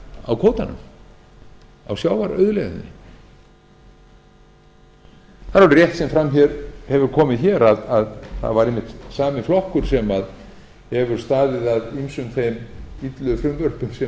á kvótanum á sjávarauðlegðinni það er alveg rétt sem fram hefur komið hér að það var einmitt sami flokkur sem hefur staðið að ýmsum þeim illu frumvörpum sem ég hef verið að